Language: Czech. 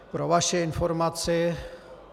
Pro vaši informaci...